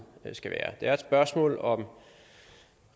skal være det er et spørgsmål om